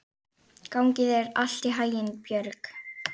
Gangi þér allt í haginn, Björg.